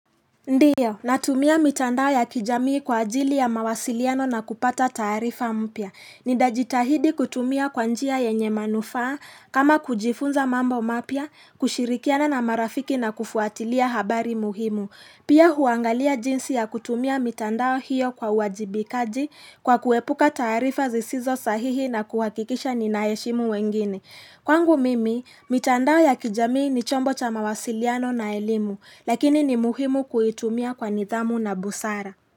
Ndiyo, natumia mitandao ya kijamii kwa ajili ya mawasiliano na kupata taarifa mpya. Nitajitahidi kutumia kwa njia yenye manufaa kama kujifunza mambo mapya, kushirikiana na marafiki na kufuatilia habari muhimu. Pia huangalia jinsi ya kutumia mitandao hiyo kwa wajibikaji kwa kuepuka taarifa zisizo sahihi na kuwakikisha ninaheshimu wengine. Kwangu mimi, mitandao ya kijamii ni chombo cha mawasiliano na elimu, lakini ni muhimu kuitumia kwa nidhamu na busara.